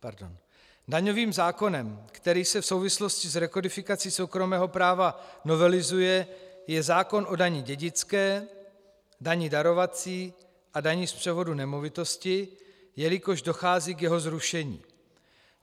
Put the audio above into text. Daňovým zákonem, který se v souvislosti s rekodifikací soukromého práva novelizuje, je zákon o dani dědické, dani darovací a dani z převodu nemovitosti, jelikož dochází k jeho zrušení.